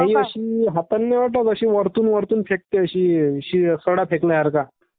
हा... is not clear वरून फेकते अशी ...सडा फेकल्यासारखा...